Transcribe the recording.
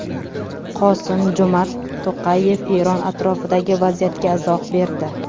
Qosim-Jo‘mart To‘qayev Eron atrofidagi vaziyatga izoh berdi.